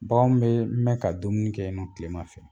Baganw bɛ mɛn ka dumuni kɛ yen nɔn kilema fɛ